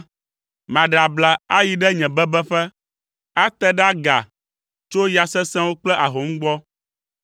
Maɖe abla ayi ɖe nye bebeƒe, ate ɖe aga tso ya sesẽwo kple ahom gbɔ.”